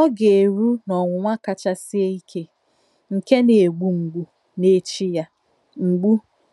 Ọ̀ gà-erù n’ònwùnwà káchà sìé ìké, nkè nà-ègbú mgbù, n’èchí ya. mgbù,